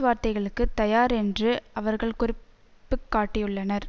வார்த்தைகளுக்குத் தயார் என்று அவர்கள் குறிப்பு காட்டியுள்ளனர்